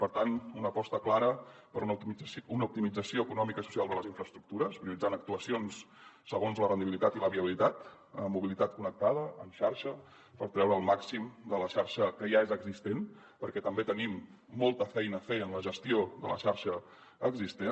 per tant una aposta clara per una optimització econòmica i social de les infraestructures prioritzant actuacions segons la rendibilitat i la viabilitat amb mobilitat connectada en xarxa per treure el màxim de la xarxa que ja és existent perquè també tenim molta feina a fer en la gestió de la xarxa existent